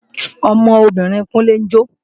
Ọmọbìnrin Kúnlé ń jó